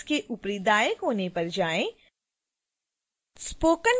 koha interface के ऊपरी दाएं कोने पर जाएँ